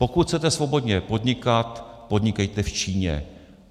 Pokud chcete svobodně podnikat, podnikejte v Číně.